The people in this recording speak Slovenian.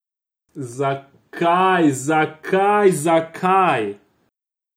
Zakaj, zakaj, zakaj?